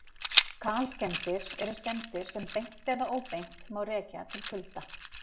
Kalskemmdir eru skemmdir sem beint eða óbeint má rekja til kulda.